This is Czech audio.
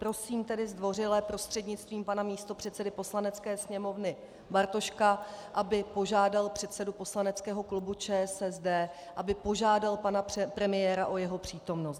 Prosím tedy zdvořile prostřednictvím pana místopředsedy Poslanecké sněmovny Bartoška, aby požádal předsedu poslaneckého klubu ČSSD, aby požádal pana premiéra o jeho přítomnost.